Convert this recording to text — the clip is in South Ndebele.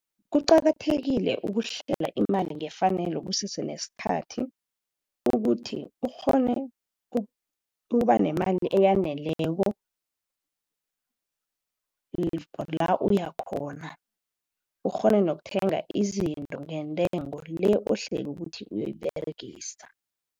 Kuqakathekile ukuhlela imali ngefanelo kusese nesikhathi, ukuthi ukghone ukuba nemali eyaneleko la uya khona. Ukghone nokuthenga izinto ngentengo le ohlele ukuthi uyoyiberegisa.